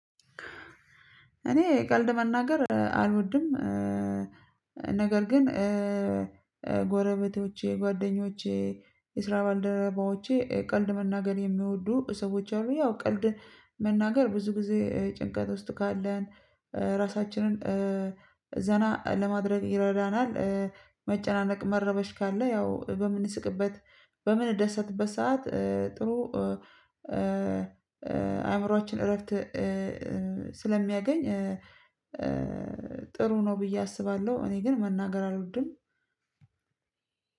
እኔ ቀልድ መናገር አልወድም። ነገር ግን ጎረቤቶቼ ጓደኞቼ የስራ ባልደረባዎቼ ቀልድ መናገር የሚወዱ ሰዎች አሉ ያው ቀልድ መናገር ብዙ ጊዜ ጭንቀት ውስጥ ካለን ራሳችንን ዘና ለማድረግ ይረዳናል። መጨናነቅ መረበሽ ካለ ያው በምንስቅበት በምንደሰትበት ሰዓት ጥሩ አእምሮአችን እረፍት ስለሚያገኝ ጥሩ ነው ብዬ አስባለሁ። እኔ ግን መናገር አልወድም።